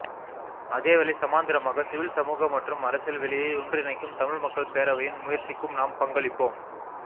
அதே வேளை சமாந்திரமாக சிவில் சமூக மற்றும் அரசியல் வெளியை ஒன்றிணைக்கும் தமிழ் மக்கள் பேரவையின் முயற்சிக்கும் நாம் பங்களிப்போம்